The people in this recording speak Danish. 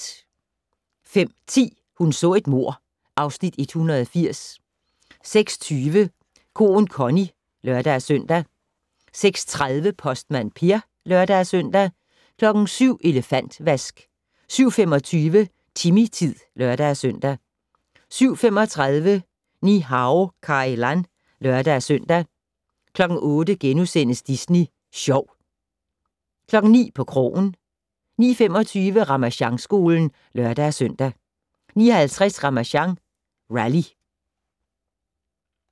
05:10: Hun så et mord (Afs. 180) 06:20: Koen Connie (lør-søn) 06:30: Postmand Per (lør-søn) 07:00: Elefantvask 07:25: Timmy-tid (lør-søn) 07:35: Ni-Hao Kai Lan (lør-søn) 08:00: Disney Sjov * 09:00: På krogen 09:25: Ramasjangskolen (lør-søn) 09:50: Ramasjang Rally